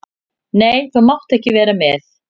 Nei, þú mátt ekki vera með.